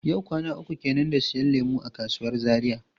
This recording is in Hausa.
Yau kwana uku kenan da siyan lemu a kasuwar Zaria.